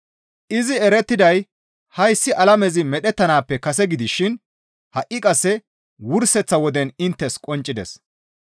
Izi erettiday hayssi alamezi medhettanaappe kase gidishin ha7i qasse wurseththa woden inttes qonccides.